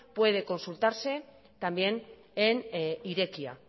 puede consultarse también en irekia